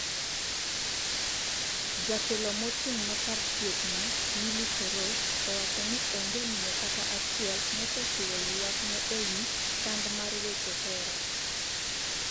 jatelo mochung' ne kar thieth no Lily Koros owacho ni onge miyo kata achiel mosechiwo ywak ne e wiy sand mar weche hera